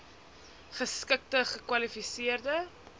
geskikte gekwali seerde